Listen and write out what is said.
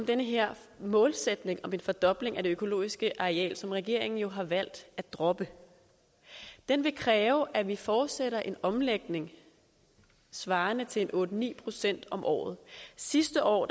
den her målsætning om en fordobling af det økologiske areal som regeringen har valgt at droppe den ville kræve at vi fortsatte en omlægning svarende til en otte ni procent om året sidste år